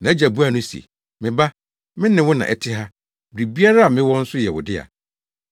“Nʼagya buaa no se, ‘Me ba, me ne wo na ɛte ha. Biribiara a mewɔ nso yɛ wo dea.